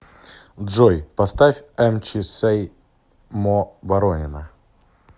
джой поставь эмчи сэй мо боронина